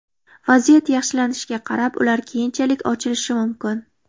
Vaziyat yaxshilanishiga qarab, ular keyinchalik ochilishi mumkin.